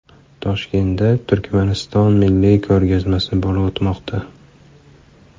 Toshkentda Turkmaniston milliy ko‘rgazmasi bo‘lib o‘tmoqda .